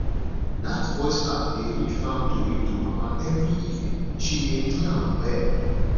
that voice app dey read farm tori to mama every evening she dey enjoy am well